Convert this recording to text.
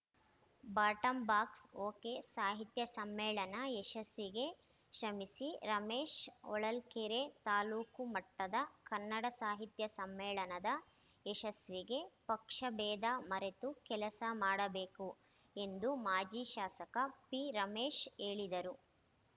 ಬಾಟಂಬಾಕ್ಸ ಓಕೆಸಾಹಿತ್ಯ ಸಮ್ಮೇಳನ ಯಶಸಿಗೆ ಶ್ರಮಿಸಿ ರಮೇಶ್‌ ಹೊಳಲ್ಕೆರೆ ತಾಲೂಕು ಮಟ್ಟದ ಕನ್ನಡ ಸಾಹಿತ್ಯ ಸಮ್ಮೇಳನದ ಯಶಸ್ವಿಗೆ ಪಕ್ಷಭೇದ ಮರೆತು ಕೆಲಸ ಮಾಡಬೇಕು ಎಂದು ಮಾಜಿ ಶಾಸಕ ಪಿರಮೇಶ್‌ ಹೇಳಿದರು